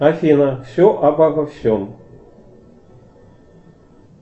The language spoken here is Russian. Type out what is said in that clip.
афина все обо всем